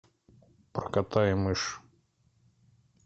про кота и мышь